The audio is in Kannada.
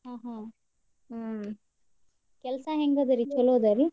ಹ್ಮ್ ಕೆಲ್ಸಾ ಹೆಂಗಿದೇರಿ? ಚುಲೊ ಇದೇರಿ?